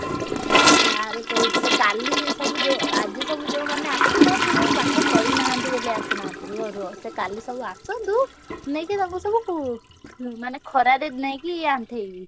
sir କହିଥିଲେ କାଲି ସବୁ ଯୋଉ ଆଜି ସବୁ ଯୋଉମାନେ ଆସିନ ସେ ସବୁ ପାଠ କରିନାହାନ୍ତି ବୋଲି ଆସିନାହାନ୍ତି ରୁହ ରୁହ ସେ କାଲି ସବୁ ଆସନ୍ତୁ ନେଇକି ତାଙ୍କୁ ସବୁ ~କୁ ମାନେ ଖରାରେ ନେଇକି ଆଣ୍ଠେଇବି।